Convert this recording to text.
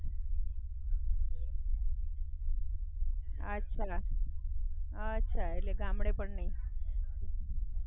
અને મામા ને બધા ગામડે, ત્યાં જાય કોઈ વાર મામા ની ઘરે?